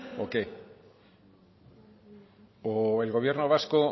o qué o el gobierno vasco